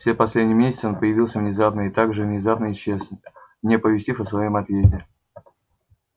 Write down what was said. все последние месяцы он появлялся внезапно и так же внезапно исчез не оповестив о своём отъезде